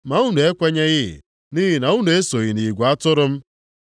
Ma unu ekwenyeghị, nʼihi na unu esoghị nʼigwe atụrụ m.